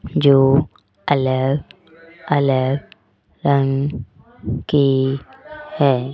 जो अलग अलग रंग के है।